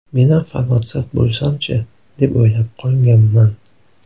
Menam farmatsevt bo‘lsam-chi, deb o‘ylab qolganman.